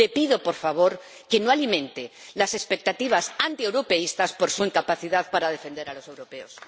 Le pido, por favor, que no alimente las expectativas antieuropeístas por su incapacidad para defender a los europeos.